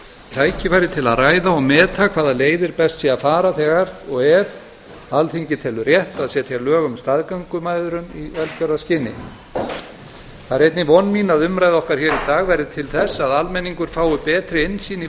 tækifæri til að ræða og meta hvaða leiðir best sé að fara þegar og ef alþingi tekur rétt að setja lög um staðgöngumæðrun í velgjörðarskyni það er einnig von mín að umræða okkar hér í dag verði til þess að almenningur fái betri innsýn í